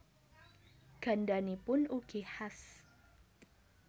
Gandhanipun ugi khas